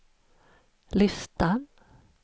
listan